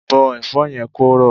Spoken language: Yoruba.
Bọ́ Ẹ̀fọ́ yẹn kó rọ̀!